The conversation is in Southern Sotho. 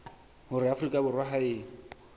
hore afrika borwa ha e